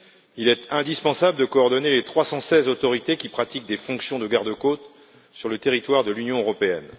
Il est indispensable de coordonner les 316 autorités qui pratiquent des fonctions de gardes côtes sur le territoire de l'Union européenne.